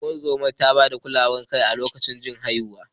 Ungozomar ta ba da kulawar jin kai a lokacin haihuwar.